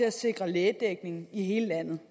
at sikre lægedækning i hele landet